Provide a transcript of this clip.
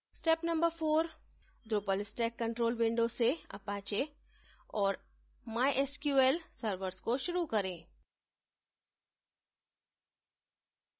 step no 4: drupal stack control window से apache और mysql servers को शुरू करें